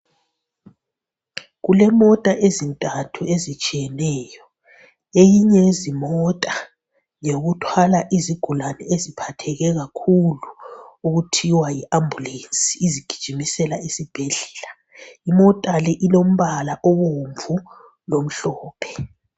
Kulemota ezintathu ezitshiyeneyo. Eyinye yezimota ngeyokuthwala izigulane eziphatheke kakhulu okuthiwa yiAmbulensi izigijimisela esibhedlela. Imota le ilombala obomvu lomhlophe.